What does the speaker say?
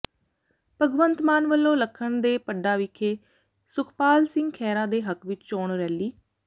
ਭਗਵੰਤ ਮਾਨ ਵੱਲੋਂ ਲੱਖਣ ਕੇ ਪੱਡਾ ਵਿਖੇ ਸੁਖਪਾਲ ਸਿੰਘ ਖਹਿਰਾ ਦੇ ਹੱਕ ਵਿਚ ਚੋਣ ਰੈਲੀ